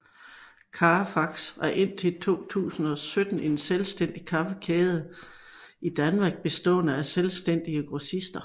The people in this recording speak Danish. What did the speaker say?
Cafax var indtil 2017 en selvstændig kaffekæde i Danmark bestående af selvstændige grossister